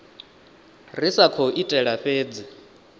ri sa khou itela fhedzi